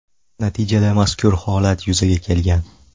Natijada mazkur holat yuzaga kelgan.